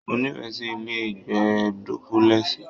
Mo nifẹ sí ilé ìgbé dúpúlẹ́sì.